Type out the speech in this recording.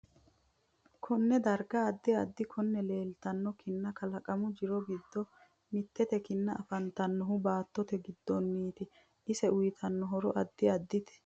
Konne darga addi addi kinna leeltanno kinna kalaqamu jiro giddo mittete kinna afantanohu baatote giddoniiti ise uyiitanno horo addi addite